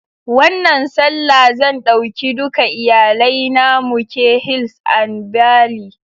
Wannan Sallah zan ɗauki duka iyalai na muke hils and bally